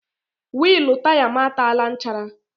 Wịịlụ taya m ataala nchara.